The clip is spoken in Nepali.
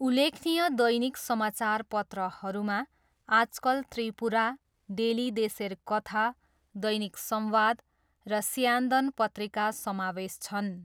उल्लेखनीय दैनिक समाचारपत्रहरूमा आजकल त्रिपुरा, डेली देशेर कथा, दैनिक संवाद र स्यान्दन पत्रिका समावेश छन्।